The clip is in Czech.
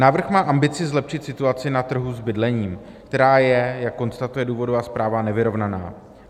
Návrh má ambici zlepšit situaci na trhu s bydlením, která je, jak konstatuje důvodová zpráva, nevyrovnaná.